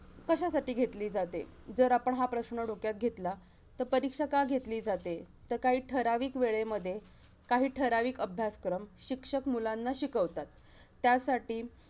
कशासाठी घेतली जाते? जर आपण हा प्रश्न डोक्यात घेतला, तर परीक्षा का घेतली जाते? तर काही ठराविक वेळेमध्ये, काही ठराविक अभ्यासक्रम, शिक्षक मुलांना शिकवतात. त्यासाठी